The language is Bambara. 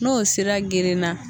N'o sira gerenna.